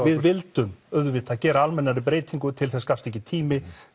við vildum auðvitað gera almennari breytingar til þess gafst ekki tími